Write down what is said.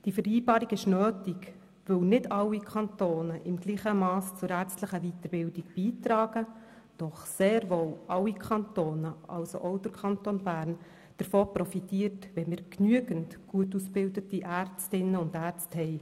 Die Vereinbarung ist nötig, weil nicht alle Kantone im gleichen Mass zur ärztlichen Weiterbildung beitragen, doch sehr wohl alle Kantone – also auch der Kanton Bern – davon profitieren, wenn wir genügend gut ausgebildete Ärztinnen und Ärzte haben.